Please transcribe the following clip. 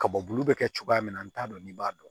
Ka bɔ bulu bɛ kɛ cogoya min na n t'a dɔn n'i b'a dɔn